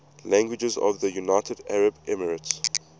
languages of the united arab emirates